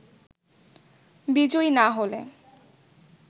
বিজয়ী না হলে